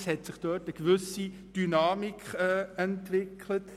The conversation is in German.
Es hat sich dort eine gewisse Dynamik entwickelt.